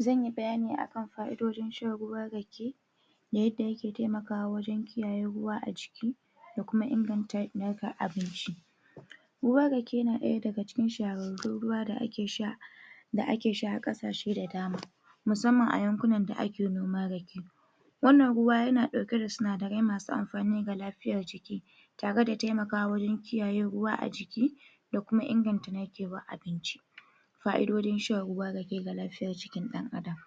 Zan yi bayani a kan fa'idojin shan ruwan rake da yadda yake taimakawa wajen kiyaye ruwa a jiki da kuma inganta narka abinci Ruwan rake na ɗaya daga cikin shahararrun ruwa da ake sha da ake sha a ƙasashe da dama musamman a yankuna da ake noman rake Wannan ruwa yana ɗauke da sinadarai masu amfani ga lafiyar jiki tare da taimakawa wajen kiyaye ruwa a jiki da kuma inganta narkewar abinci Fa'idojin shan ruwan rake ga lafiyar jikin ɗan'adam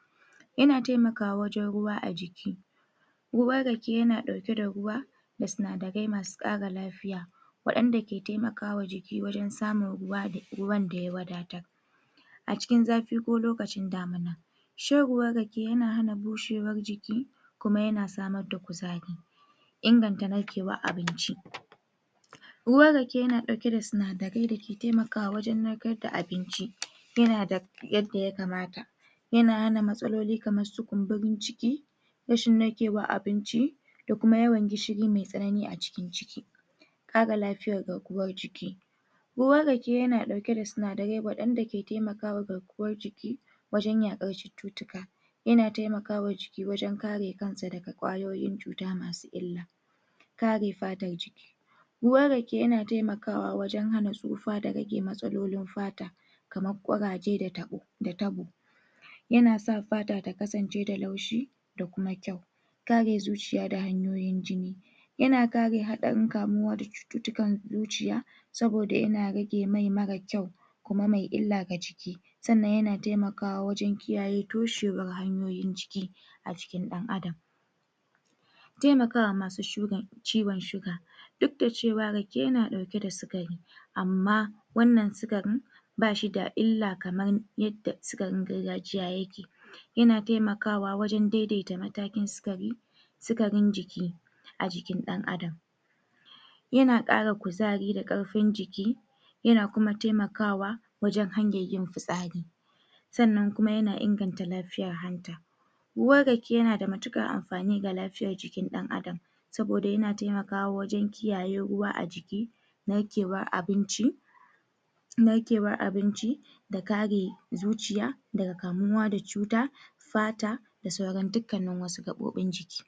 Yana taimakwa wajen ruwa a jiki Ruwan rake yana ɗauke da ruwa da sinadarai masu ƙara lafiya waɗanda ke taimaka wa jiki wajen samun ruwa da ruwan da ya wadatar a cikin zafi ko lokacin damina Shan ruwan rake yana hana bushewar jiki kuma yana samar da kuzari Inganta narkewar abinci Ruwan rake yana ɗauke da sinadarai da ke taimakawa wajen narkar da abinci, yana da yadda ya kamata yana matsaloli kamar su kumburin ciki rashin narkewar abinci da kuma yawan gishiri mai tsanani a cikin ciki Kula da lafiyar garkuwa jiki. Ruwan rake yana ɗauke da sinadarai waɗanda ke taimaka wa garkuwar jiki wajen yaƙar cututtuka Yana taimaka wa jiki wajen kare kansa daga ƙwayoyin cuta masu illa kare fatar jiki Ruwan rake yana taimakawa wajen hana tsufa da rage matsalolin fata kamra ƙuraje da tabo Yana sa fata ta kasance da laushi da kuma kyau, kare zuciya da hanyoyin jini yana kare haɗarin kamuwa da cututtukan zuciya saboda yana rage mai marar kyau kuma mai illa ga jiki sannan yana taimkawa wajen kiyaye toshewar hawan jini a jikin ɗan'adam Taimaka wa masu ciwon shuga. Duk da cewa rake yana ɗauke da sukari, amma wannan sukarin ba shi da illa kamar yadda sukarin gargajiya yake yana taimakawa wajen daidaita matakin sukari, sukarin jiki, a jikin ɗan'adam. Yana ƙara kuzari da ƙarfin jiki yana kuma taimakawa wajen hanyar yin fitsari sanna kuma yana inganta lafiyar hanta Ruwan rake yana da matuƙar amfani ga lafiyar jikin ɗan'adam saboda yana taimakawa wajen kiyaye ruwa a jiki, narkewar abinci narkewar abinci da kare zuciya daga kamuwa da cuta fata da sauran dukkannin wasu gaɓoɓin jiki.